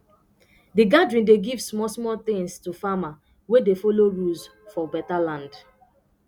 the gathering dey give small small things to farmer wey dey follow rules for beta land